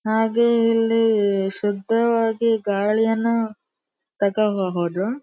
ಹಾಗೆ ಇಲ್ಲಿ ಶುದ್ಧವಾಗಿ ಗಾಳಿಯನ್ನು ತಗಬಹುದು.